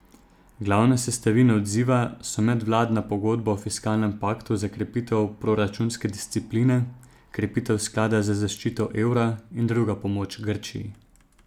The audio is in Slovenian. Glavne sestavine odziva so medvladna pogodba o fiskalnem paktu za krepitev proračunske discipline, krepitev sklada za zaščito evra in druga pomoč Grčiji.